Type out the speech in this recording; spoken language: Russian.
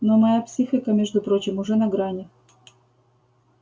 но моя психика между прочим уже на грани